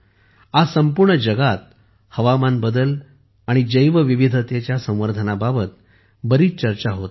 आज संपूर्ण जगात हवामानबदल आणि जैवविविधतेच्या संवर्धनाबाबत बरीच चर्चा होत आहे